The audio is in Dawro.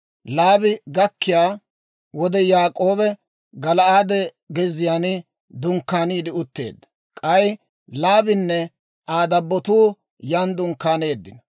Laabi gakkiyaa wode, Yaak'oobi Gala'aade gezziyaan dunkkaaniide utteedda; k'ay Laabinne Aa dabbotuu yan dunkkaaneeddino.